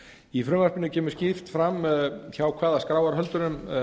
í frumvarpinu kemur skýrt fram hjá hvaða skráarhöldurum